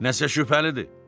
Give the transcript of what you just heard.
Nəsə şübhəlidir.